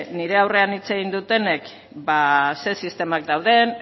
nire aurrean hitz egin dutenek ba zein sistema dauden